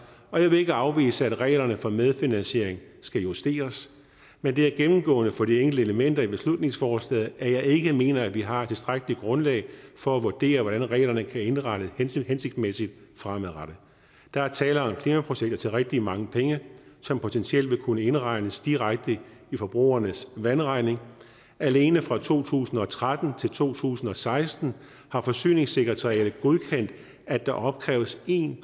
og jeg vil ikke afvise at reglerne for medfinansiering skal justeres men det er jo gennemgående for de enkelte elementer i beslutningsforslaget at jeg ikke mener at vi har et tilstrækkeligt grundlag for at vurdere hvordan reglerne kan indrettes hensigtsmæssigt fremadrettet der er tale om klimaprojekter til rigtig mange penge som potentielt vil kunne indregnes direkte i forbrugernes vandregning alene fra to tusind og tretten til to tusind og seksten har forsyningssekretariatet godkendt at der opkræves en